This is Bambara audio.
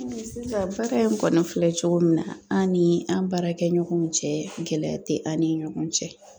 sisan baara in kɔni filɛ cogo min na an' ni an' baarakɛɲɔgɔnw cɛ gɛlɛya tɛ an' ni ɲɔgɔn cɛ.